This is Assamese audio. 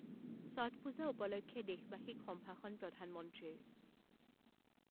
ছঠ পূজা উপলক্ষে দেশবাসীক সম্ভাষণ প্ৰধানমন্ত্ৰীৰ